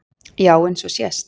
Já eins og sést.